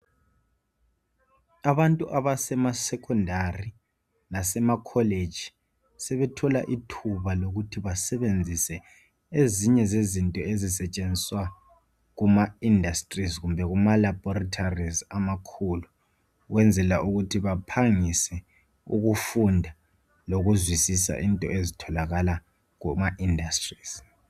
Abantu abasema secondary lasemacollege. Sebethola ithuba lokuthi basebenzise ezinye zezinto ezisetshenziswa kuma industries, kumbe kumaLaboratories amakhulu. Ukwenzela ukuthi baphangise ukufunda lokuzwisisa izinto ezitholakala kumaindustries.